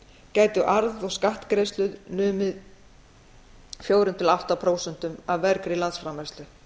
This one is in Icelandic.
gætu arð og skattgreiðslur numið fjögur til átta prósent af vergri landsframleiðslu